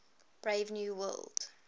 brave new world